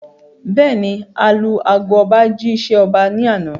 Bẹ́ẹ̀ni, alu ago ọba jí ṣẹ́ ọba ní àná